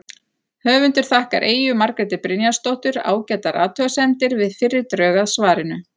Höfundur þakkar Eyju Margréti Brynjarsdóttur ágætar athugasemdir við fyrri drög að svarinu.